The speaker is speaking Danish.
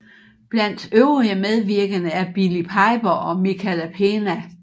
Blandt øvrige medvirkende er Billie Piper og Michael Pena